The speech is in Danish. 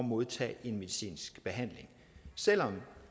modtage en medicinsk behandling selv om